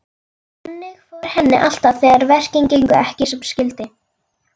Þannig fór henni alltaf þegar verkin gengu ekki sem skyldi.